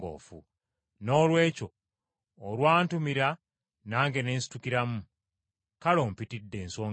Noolwekyo olwantumira nange ne nsitukiramu. Kale, ompitidde nsonga ki?”